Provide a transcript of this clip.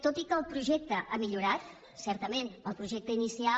tot i que el projecte ha millorat certament el projecte inicial